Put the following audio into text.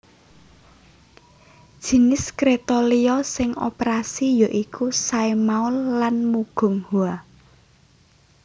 Jinis kréta liya sing operasi ya iku Saemaul lan Mugunghwa